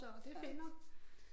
Så det er pænt nok